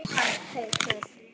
Jóhann Haukur.